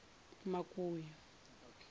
makuya